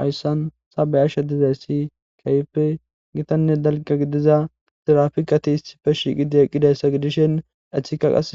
Hayssan sabe ashsha dizay si kaype gitanne dalga gidiza sirafikati hisife shiiqidi eqqidayssa gidishen ethika qas